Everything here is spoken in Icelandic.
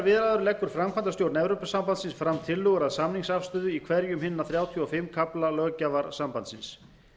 við aðildarviðræður leggur framkvæmdastjórn evrópusambandsins tillögur að samningsafstöðu í hverjum hinna þrjátíu og fimm kafla löggjafar sambandsins